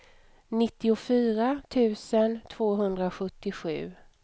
nittiofyra tusen tvåhundrasjuttiosju